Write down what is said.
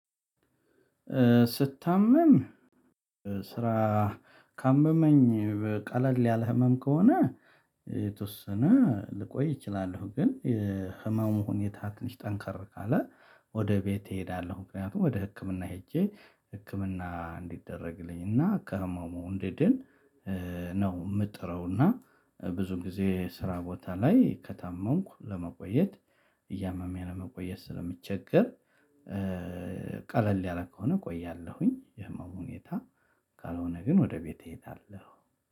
ስታመም ስራ ካመመኝ ቀለል ያለ ህመም ከሆነ የተወሰነ ልቆይ እችላለሁ ግን የህመም ሁኔታ ትንሽ ጠንካር ካለ ወደ ቤቴ እሄዳለሁ ምክንያቱም ወደ ህክምና ሄጄ ህክምና እንዲደረግልኝ እና ከህመሙ እንድድን ነው የምጥረው። ብዙ ጊዜ ስራ ቦታ ላይ ከታመምኩ ለመቆየት እያመመኝ ለመቆየት ስለምቸገር። ቀለል ያለ ከሆነ እቆያለሁኝ የህመሙ ሁኔታ ካልሆነ ግን ወደ ቤቴ እሄዳለሁ